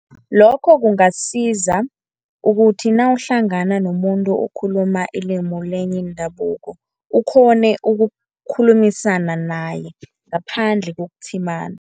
Lokho kungasiza ukuthi nawuhlangana nomuntu okhuluma ilimi lenye indabuko, ukghone ukukhulumisana naye ngaphandle kokutshimana.